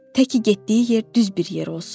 Təki getdiyi yer düz bir yer olsun.